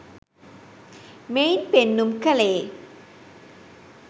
මෙයින් පෙන්නුම් කළේ